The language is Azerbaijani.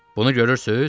Bunu görürsüz?